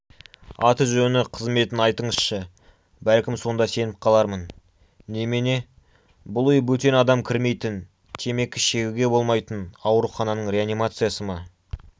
аты-жөні қызметін айтыңызшы бәлкім сонда сеніп қалармын немене бұл үй бөтен адам кірмейтін темекі шегуге болмайтын аурухананың реанимациясы ма